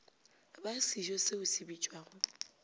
ba sejo se se bitšwago